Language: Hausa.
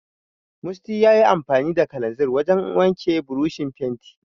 Musty yayi amfani da kalanzir wajen wanke burushin fenti.